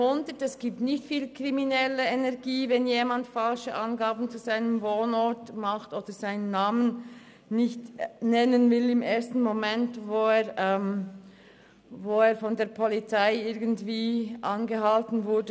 Es handelt sich nicht um grosse kriminelle Energien, wenn jemand falsche Angaben zu seinem Wohnort macht oder seinen Namen im ersten Moment nicht nennen will.